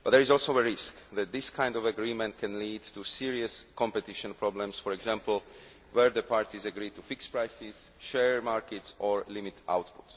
But there is also a risk that this kind of agreement can lead to serious competition problems, for example, where the parties agree to fix prices, share markets or limit output.